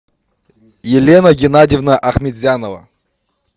елена геннадьевна ахметзянова